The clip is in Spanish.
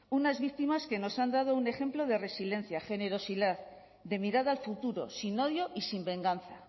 unas víctimas que nos han dado un ejemplo de resiliencia generosidad de mirada al futuro sin odio y sin venganza